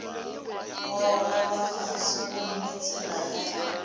gogoba fase gomme tsela ya